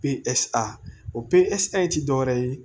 o ti dɔwɛrɛ ye